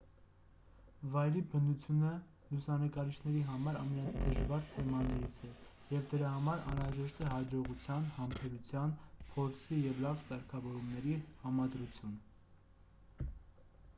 վայրի բնությունը լուսանկարիչների համար ամենադժվար թեմաներից է և դրա համար անհրաժեշտ է հաջողության համբերության փորձի և լավ սարքավորումների համադրություն